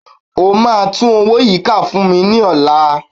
O máa tún owó yìí kà fún mi ní ọ̀la